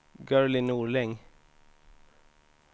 Gurli Norling